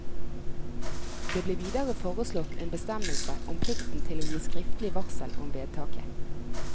Det ble videre foreslått en bestemmelse om plikten til å gi skriftlig varsel om vedtaket.